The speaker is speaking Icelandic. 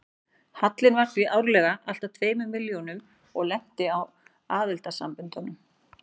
Hallinn var því árlega alltað tveimur milljónum og lenti á aðildarsamböndunum.